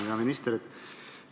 Hea minister!